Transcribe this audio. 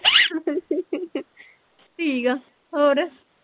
ਠੀਕ ਆ ਹੋਰ